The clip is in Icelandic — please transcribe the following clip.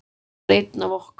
Hann var einn af okkur.